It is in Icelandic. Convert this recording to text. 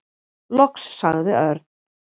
Loks sagði Örn.